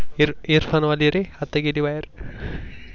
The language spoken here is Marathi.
इअरफोनवाली रे आत्ता गेली बहेर